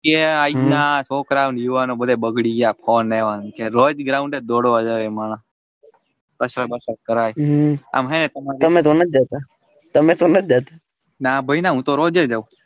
કે આ રીતના છોકરા અને યુવાનો બગડી ગયા ફોને લોજ ground એ જ દોડવા જાય એ માણહ આમ હે ના ભાઈ ના હું તો રોઝે જાઉં.